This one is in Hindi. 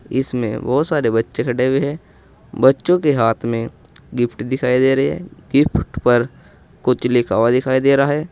इसमें बहुत सारे बच्चे खड़े हुए हैं। बच्चों के हाथ में गिफ्ट दिखाई दे रहे हैं। गिफ्ट पर कुछ लिखा हुआ दिखाई दे रहा है।